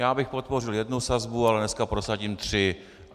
Já bych podpořil jednu sazbu, ale dnes prosadím tři.